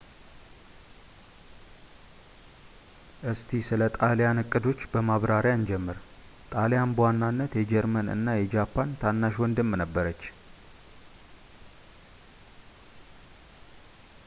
እስቲ ስለ ጣልያን እቅዶች በማብራሪያ እንጀምር ጣሊያን በዋናነት የጀርመን እና የጃፓን ታናሽ ወንድም ነበረች